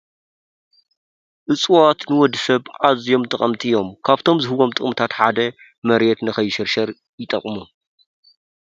እፅዋት ንወዲሰብ ኣዝዮም ጠቀምቲ እዮም ።ኻብቶም ዝህብዎም ጥቅምታት ሓደ መሬት ከይሽርሸር ይጠቅሙ።